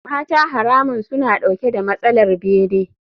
Mata haramun suna dauke da matsalar bene.